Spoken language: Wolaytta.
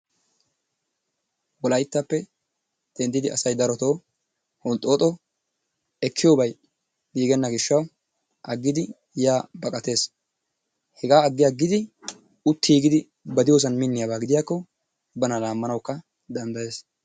Wolayttappe denddidi asay daroto honxxooxo ekkiyobay giigenna gishshawu aggidi yaa baqates. Hegaa aggiyagidi uttiiggidi ba diyosan minniyaaba gidiyakko bana laammanawukka danddayees.